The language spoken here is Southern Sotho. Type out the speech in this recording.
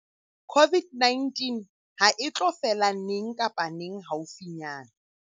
COVID-19 hae tlo fela neng kapa neng haufinyana.